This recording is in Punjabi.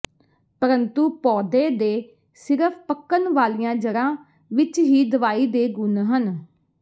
ਪਰੰਤੂ ਪੌਦੇ ਦੇ ਸਿਰਫ ਪੱਕਣ ਵਾਲੀਆਂ ਜੜ੍ਹਾਂ ਵਿਚ ਹੀ ਦਵਾਈ ਦੇ ਗੁਣ ਹਨ